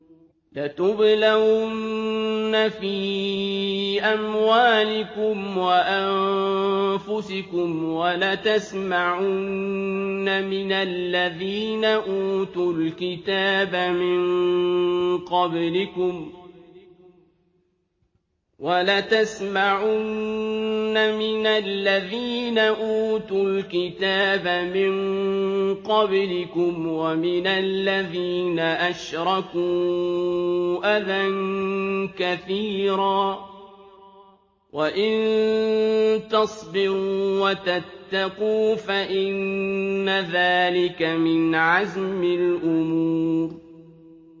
۞ لَتُبْلَوُنَّ فِي أَمْوَالِكُمْ وَأَنفُسِكُمْ وَلَتَسْمَعُنَّ مِنَ الَّذِينَ أُوتُوا الْكِتَابَ مِن قَبْلِكُمْ وَمِنَ الَّذِينَ أَشْرَكُوا أَذًى كَثِيرًا ۚ وَإِن تَصْبِرُوا وَتَتَّقُوا فَإِنَّ ذَٰلِكَ مِنْ عَزْمِ الْأُمُورِ